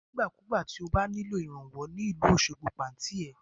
Nígbà ku gbà tí o bá nílò ìrànwọ́ ní ìlú Osogbo, pe Àǹtí ẹ.